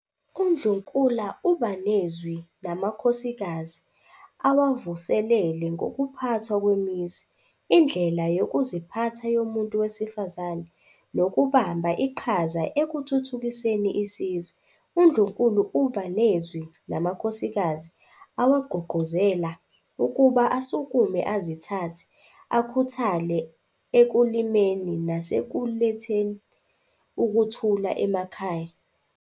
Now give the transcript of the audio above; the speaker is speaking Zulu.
UNdlunkula uba nezwi namakhosikazi, awavuselele ngokuphathwa kwemizi, indlela yokuziphatha yomuntu wesifazane, nokubamba iqhaza ekuthuthukiseni isizwe. UNdlunkulu uba nezwi namakhosikazi awagqugquzela ukuba asukume azithathe, akhuthale ekulimeni nasekuletheli ukuthula emakhaya.